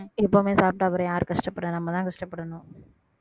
எப்பவுமே சாப்பிட்டா அப்புறம் யாரு கஷ்டப்படுறா நம்மதான் கஷ்டப்படணும்